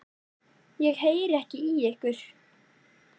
Ég heyri ekki í ykkur.